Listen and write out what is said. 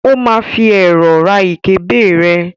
ó ma fi ẹ̀rọ̀ ra ìkébè rẹ̀.